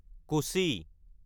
Kochi